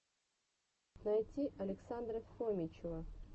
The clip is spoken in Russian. найти александра фомичева